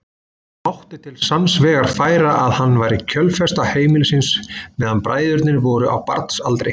Mátti til sanns vegar færa að hann væri kjölfesta heimilisins meðan bræðurnir voru á barnsaldri.